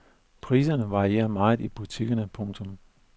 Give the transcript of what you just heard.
Priserne varierer meget i butikkerne. punktum